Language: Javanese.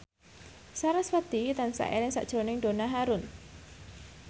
sarasvati tansah eling sakjroning Donna Harun